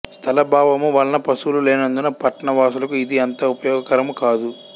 స్థలాభావము వలన పశువులు లేనందున పట్న వాసులకు ఇది అంత ఉపయోగ కరము కాదు